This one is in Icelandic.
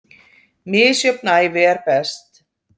Misjöfn ævi er best.